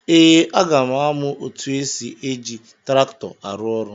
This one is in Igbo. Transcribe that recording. Ee, aga m amụ etu esi eji traktọ arụ ọrụ.